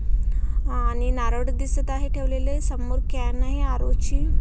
आणि नारळ दिसत आहे ठेवलेले समोर कॅन आहे आरो ची--